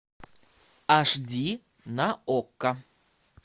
аш ди на окко